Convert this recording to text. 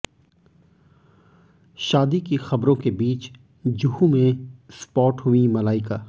शादी की खबरों के बीच जुहू में स्पॉट हुईं मलाइका